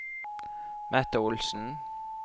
Mette Olsen